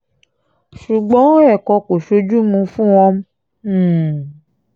ṣùgbọ́n ẹ̀kọ́ kò sójú ḿmú fún wọn um